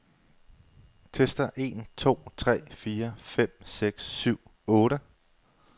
Tester en to tre fire fem seks syv otte.